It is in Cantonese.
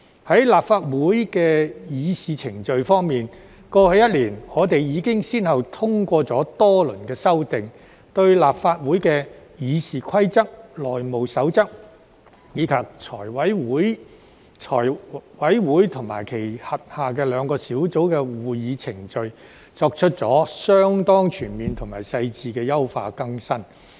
在立法會的議事程序方面，過去一年，我們已經先後通過多輪修訂，對立法會的《議事規則》、《內務守則》，以及財務委員會及其轄下兩個小組委員會的會議程序作出了相當全面及細緻的優化更新。